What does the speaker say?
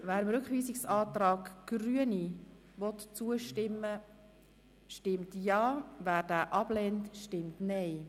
Wer diesen annimmt stimmt Ja, wer diesen ablehnt, stimmt Nein.